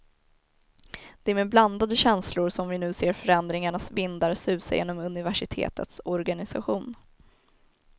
Det är med blandade känslor som vi nu ser förändringarnas vindar susa genom universitetets organisation.